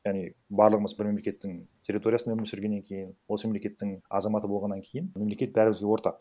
яғни барлығымыз бір мемлекеттің территориясында өмір сүргеннен кейін осы мемлекеттің азаматы болғаннан кейін мемлекет бәрімізге ортақ